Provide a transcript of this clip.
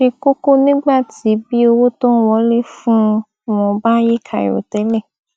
ṣe kókó nígbà tí bí owó tó ń wọlé fúnun wọn bá yí kàìròtẹlẹ